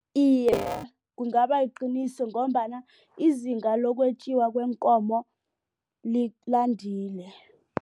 Iye, kungaba liqiniso ngombana izinga lokwetjiwa kweenkomo landile.